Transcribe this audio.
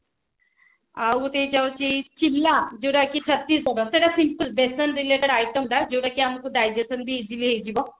ଆଉ ଗୋଟେ ଯାଉଛି ଚିମଲା ଯୋଉତ କି ସେଟା simple ବେସନ related item ଟା ଯୋଉଟା କି ଆମକୁ digestion ବି easily ହେଇଯିବ